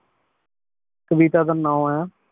ਕਵਿਤਾ ਦਾ ਨਾਉ ਆਯ